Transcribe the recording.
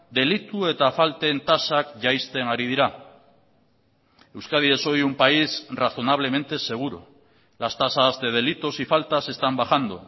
delitu eta falten tasak jaisten ari dira euskadi es hoy un país razonablemente seguro las tasas de delitos y faltas están bajando